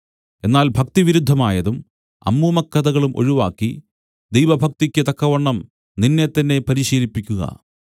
എന്നാൽ ഭക്തിവിരുദ്ധമായതും അമ്മൂമ്മക്കഥകളും ഒഴിവാക്കി ദൈവഭക്തിയ്ക്ക് തക്കവണ്ണം നിന്നെത്തന്നെ പരിശീലിപ്പിക്കുക